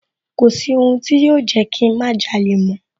Kọ̀sí ohun tí yóò Jẹ́kí ń má jalè mọ́